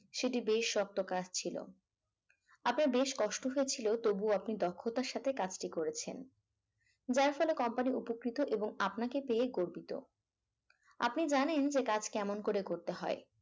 সেটি বেশ শক্ত কাজ ছিল আপনার বেশ কষ্ট হয়েছিল তবুও আপনি দক্ষতার সাথে কাজটি করেছেন। যার ফলে company উপকৃত এবং আপনাকে পেয়ে গর্বিত আপনি জানেন যে কাজ কেমন ভাবে করতে হয়